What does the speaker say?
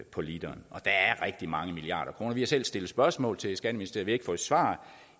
på literen og der er rigtig mange milliarder kroner vi har selv stillet spørgsmål til skatteministeriet ikke fået svar